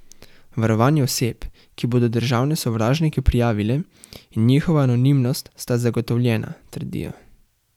Varovanje oseb, ki bodo državne sovražnike prijavile, in njihova anonimnost sta zagotovljena, trdijo.